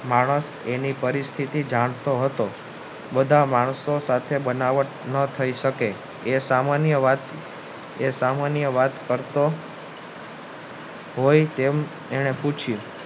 માણસ એની પરિસ્થિતિ જાણતો હતો બધા માણસો સાથે બનાવટ ન થાય શકે એ સામાન્ય વાત કરતો હોય તેમ એને પૂછ્યું